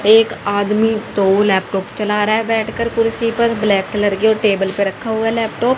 एक आदमी तो लैपटॉप चला रहा है बैठकर कुर्सी पर ब्लैक कलर के और टेबल पर रखा हुआ लैपटॉप --